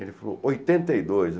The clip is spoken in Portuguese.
Ele falou oitenta e dos